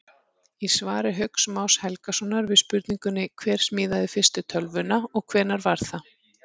Í svari Hauks Más Helgasonar við spurningunni Hver smíðaði fyrstu tölvuna og hvenær var það?